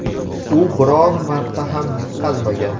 U biron marta ham yutqazmagan.